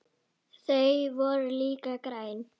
Þau voru líka græn.